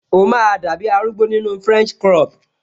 O máa dàbi arúgbó nínu french crop